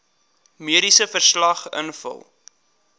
mediese verslag invul